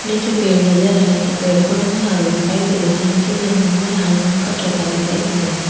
निचे पेड़ नजर आ रहे छे पेड़ को रंग हरो दिखाई दे रा छे जमीं के लाल रंग का चौका दिखाई दे रहा छ।